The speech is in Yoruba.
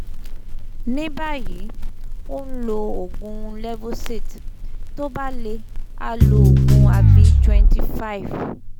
ní báyìí ó ń lo oògùn levocet tó bá le á lo oògùn avil twenty five